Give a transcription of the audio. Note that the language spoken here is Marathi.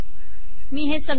हे संकलित करते